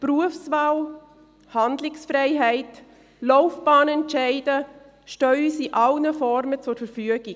Berufswelt, Handlungsfreiheit, Laufbahnentscheide stehen uns in allen Formen zur Verfügung.